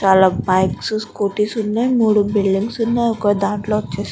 చాల bikes scooties ఉన్నాయ్. మూడు బుల్డింగ్స్ ఉన్నాయి ఒక దాంట్లో వచ్చేసి --